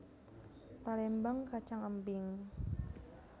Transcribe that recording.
Palémbang kacang embing